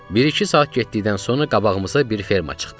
Biri-iki saat getdikdən sonra qabağımıza bir ferma çıxdı.